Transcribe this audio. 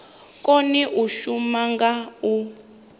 kone u shuma nga u